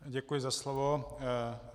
Děkuji za slovo.